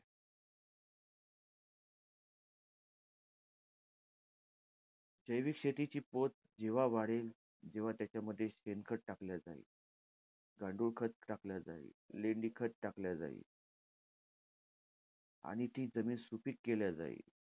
जैविक शेतीची पोत जेव्हा वाढेल तेव्हा त्याच्यामध्ये शेणखत टाकलं जाईल. गांडूळखत टाकलं जाईल. लेंडी खत टाकलं जाईल. आणि ती जमीन सुपीक केली जाईल.